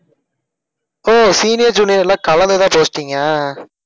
ஒஹ் senior junior ல கலந்து தான் posting ஆ